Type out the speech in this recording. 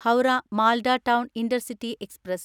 Howrah Malda town intercity express